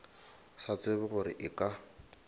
sa tsebe gore e ka